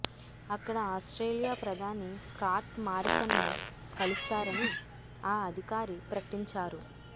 అక్కడ ఆస్ట్రేలియా ప్రధాని స్కాట్ మారిసన్ను కలుస్తారని ఆ అధికారి ప్రకటించారు